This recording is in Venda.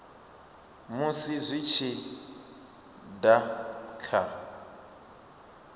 musi zwi tshi da kha